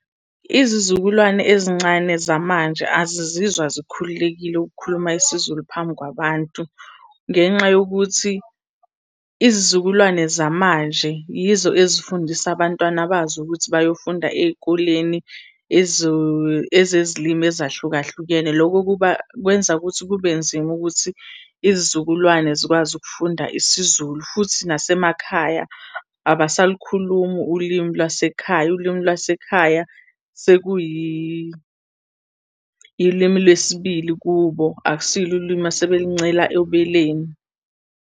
Izizukulwane ezincane zamanje azizizwa zikhululekile ukukhuluma isiZulu phambi kwabantu, ngenxa yokuthi izizukulwane zamanje yizo ezifundisa abantwana bazo ukuthi bayofunda ey'koleni ezezilimi ezahlukahlukene. Loko kuba kwenza ukuthi kube nzima ukuthi izizukulwane zikwazi ukufunda isiZulu. Futhi nasemakhaya abasalikhulumi ulimi lwasekhaya, ulwimi lwasekhaya ilimi lesibili kubo, akusilo ulimi asebelincela obeleni.